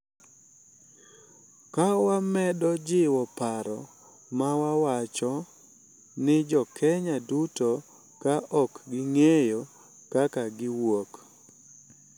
Ka wamedo jiwo paro ma wacho ni Jo-Kenya duto, ka ok ing’iyo kaka giwuok, .